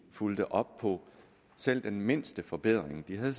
fulgte op på selv den mindste forbedring de havde